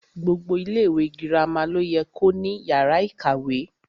Gbogbo ilẹ ìwé girama lo yẹ ko ní yàrá ìkàwé.